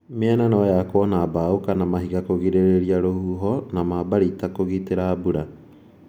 Mĩena noyakwo na mbao kana mahiga kugirĩrĩria rũhuho na mambarita kũgitĩra mbura.